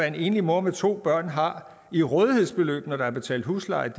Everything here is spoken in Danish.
en enlig mor med to børn har i rådighedsbeløb når der er betalt husleje